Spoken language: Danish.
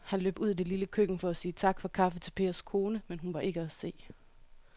Han løb ud i det lille køkken for at sige tak for kaffe til Pers kone, men hun var ikke til at se.